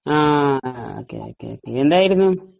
ഹാ okay okay, എന്തായിരുന്നു ?